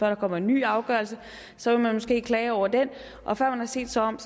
der kommer en ny afgørelse og så vil man måske klage over den og før man har set sig om